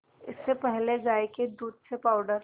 इससे पहले गाय के दूध से पावडर